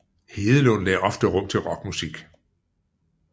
Hedelund lagde ofte rum til rockmusik